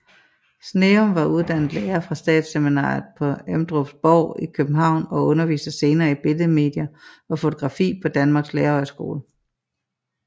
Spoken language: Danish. Sneum var uddannet lærer fra statsseminariet på Emdrupborg i København og underviste senere i billedmedier og fotografi på Danmarks Lærerhøjskole